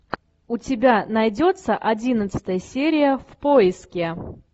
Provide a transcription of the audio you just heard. у тебя найдется одиннадцатая серия в поиске